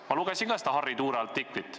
Ma lugesin ka seda Harry Tuule artiklit.